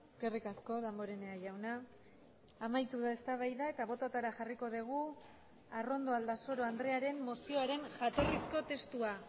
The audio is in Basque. eskerrik asko damborenea jauna amaitu da eztabaida eta bototara jarriko dugu arrondo aldasoro andrearen mozioaren jatorrizko testua